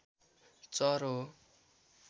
चरो हो